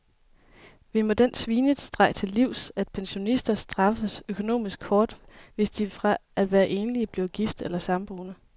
Vi må den svinestreg til livs, at pensionister straffes økonomisk hårdt, hvis de fra at være enlig bliver gift eller samboende.